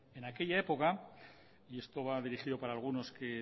en aquella época y esto va dirigido para algunos que